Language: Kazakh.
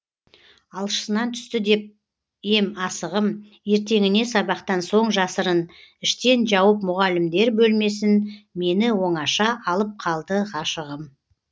алшысынан түсті деп ем асығым ертеңіне сабақтан соң жасырын іштен жауып мұғалімдер бөлмесін мені оңаша алып қалды ғашығым